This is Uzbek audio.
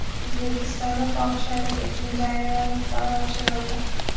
O‘zbekistonda fohishalik uchun jarima miqdori oshirildi.